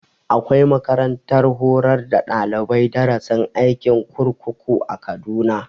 Akwai makarantar horar da daliban darasin aikin kurkuku a kaduna